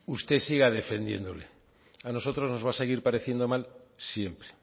usted siga defendiéndole a nosotros nos va a seguir pareciendo mal siempre